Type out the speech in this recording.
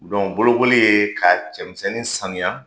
bolokoli ye ka cɛmisɛnnin samiya